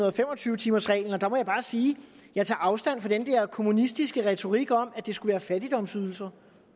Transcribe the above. og fem og tyve timersreglen og der må jeg bare sige at jeg tager afstand fra den der kommunistiske retorik om at det skulle være fattigdomsydelser